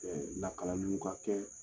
lakalaliw ka kɛ